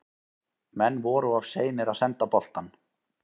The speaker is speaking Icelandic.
Menn voru of seinir að senda boltann.